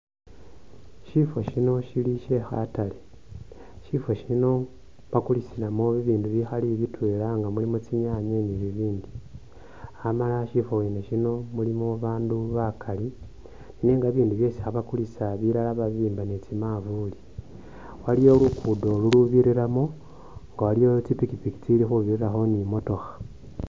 Shifo shino shili she khataru shifo shino bakulisilamo bibindu bikhali bitwela nga muli tsinyanye ni bibindi hamala shifo mwene shino shilimo babandu bakali nenga bibindu byesi khabakulisa bilala babibimba ni tsimanvuli, waliyo lugudo lubirilamo nga waliwo tsipikipiki tsili khubirilamo ni tsi mootokha.